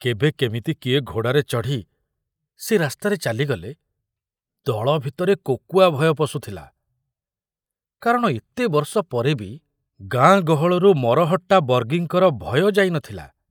କେବେ କେମିତି କିଏ ଘୋଡ଼ାରେ ଚଢ଼ି ସେ ରାସ୍ତାରେ ଚାଲିଗଲେ ଦଳ ଭିତରେ କୋକୁଆ ଭୟ ପଶୁଥିଲା, କାରଣ ଏତେ ବର୍ଷ ପରେ ବି ଗାଁ ଗହଳରୁ ମରହଟ୍ଟା ବର୍ଗୀଙ୍କର ଭୟ ଯାଇ ନଥିଲା।